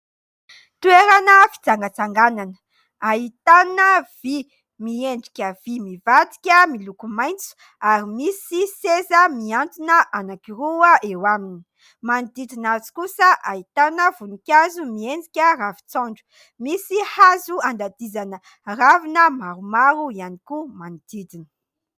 Toerana fitsangatsanganana ahitana vy miendrika vy mivadika miloko maitso ary misy seza mihantona anankiroa eo aminy. Manodidina azy kosa ahitana voninkazo miendrika ravin-tsaonjo. Misy hazo andadizana ravina maromaro ihany koa manodidina.